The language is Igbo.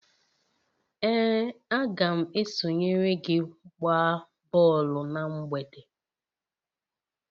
Ee, a ga m esonyere gị gbaa bọọlụ na mgbede